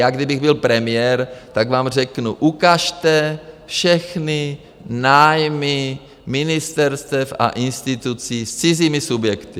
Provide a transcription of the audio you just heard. Já kdybych byl premiér, tak vám řeknu: ukažte všechny nájmy ministerstev a institucí s cizími subjekty.